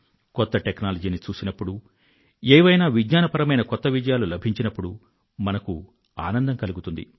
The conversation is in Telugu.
కొత్త టెక్నాలజీని చూసినప్పుడు ఏవైనా విజ్ఞానపరమైన కొత్త విజయాలు లభించినప్పుడూ మనకు ఆనందం కలుగుతుంది